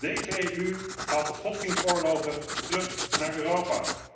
Deze EU haalt de godsdienstoorlogen terug naar Europa.